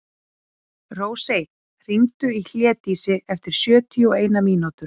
Rósey, hringdu í Hlédísi eftir sjötíu og eina mínútur.